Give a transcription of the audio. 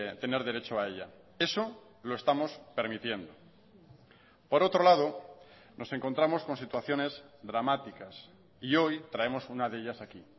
tener derecho a ella eso lo estamos permitiendo por otro lado nos encontramos con situaciones dramáticas y hoy traemos una de ellas aquí